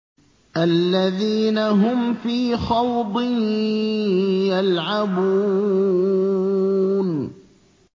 الَّذِينَ هُمْ فِي خَوْضٍ يَلْعَبُونَ